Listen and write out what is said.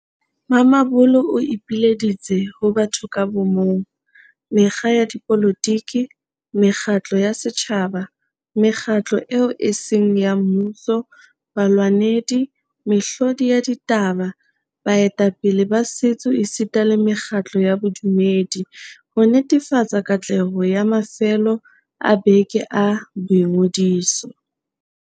Mamabolo o ipileditse ho batho ka bo mong, mekga ya dipolotiki, mekgatlo ya setjhaba, mekgatlo eo e seng ya mmuso, balwanedi, mehlodi ya ditaba, baetapele ba setso esita le mekgatlo ya bodumedi, ho netefatsa katleho ya mafelo a beke a boingodiso.